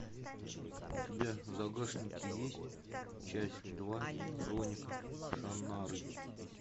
у тебя в загашнике есть часть два хроника шаннары